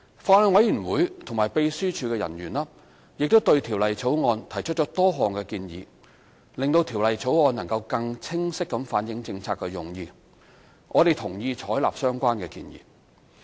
法案委員會和秘書處人員亦對《條例草案》提出多項建議，令《條例草案》能更清晰反映政策用意，我們同意採納相關建議。